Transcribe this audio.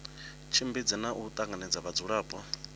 tshimbidze na u tanganya vhadzulapo